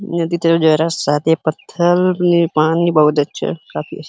पत्थर में पानी बहोत अच्छा है--